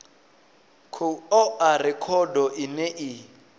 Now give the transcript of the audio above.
khou oa rekhodo ine i